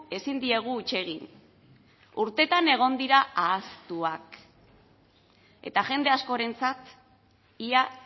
ezin diegu huts egin urteetan egon dira ahaztuak eta jende askorentzat ia